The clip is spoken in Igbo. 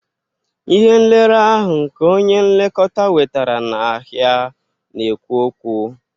Ihe nlere ahụ nke onye nlekọta wetara n'ahịa na-ekwu okwu